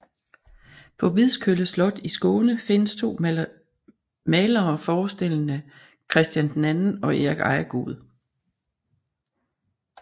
På Vidskølle Slot i Skåne findes to malerer forestillende Christian II og Erik Ejegod